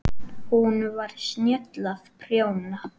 Hún var snjöll að prjóna.